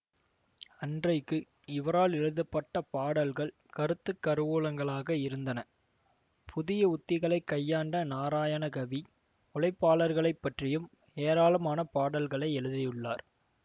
அன்றைக்கு இவரால் எழுதப்பட்ட பாடல்கள் கருத்து கருவூலங்களாக இருந்தன புதிய உத்திகளை கையாண்ட நாராயணகவி உழைப்பாளர்களைப் பற்றியும் ஏராளமான பாடல்களை எழுதியுள்ளார்